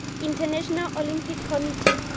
international olympic committee